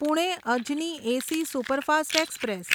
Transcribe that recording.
Pune Ajni AC superfast express